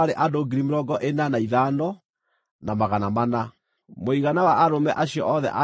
Mũigana wa arũme acio othe a Isiraeli maarĩ andũ 601,730.